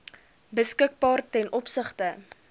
beskikbaar ten opsigte